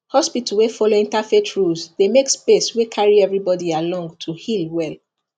hospital wey follow interfaith rules dey make space wey carry everybody along to heal well